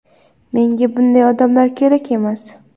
Menga bunday odamlar kerak emas.